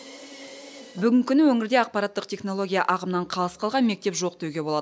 бүгінгі күні өңірде ақпараттық технология ағымынан қалыс қалған мектеп жоқ деуге болады